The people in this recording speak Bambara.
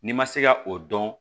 N'i ma se ka o dɔn